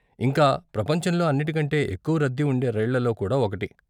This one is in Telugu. ఇంకా, ప్రపంచంలో అన్నిటి కంటే ఎక్కువ రద్దీ ఉండే రైళ్ళల్లో కూడా ఒకటి.